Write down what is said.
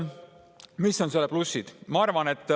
Mis on selle plussid?